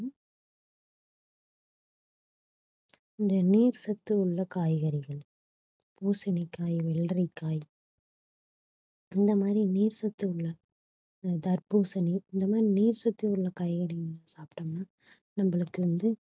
இந்த நீர் சத்து உள்ள காய்கறிகள் பூசணிக்காய் வெள்ளரிக்காய் இந்த மாதிரி நீர் சத்து உள்ள ஹம் தர்பூசணி இந்த மாதிரி நீர் சத்து உள்ள காய்கறிகள் சாப்டோம்னா நம்மளுக்கு வந்து